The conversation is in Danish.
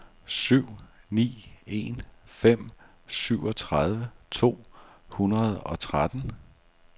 syv ni en fem syvogtredive to hundrede og tretten